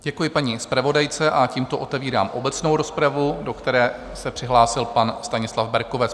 Děkuji paní zpravodajce a tímto otevírám obecnou rozpravu, do které se přihlásil pan Stanislav Berkovec.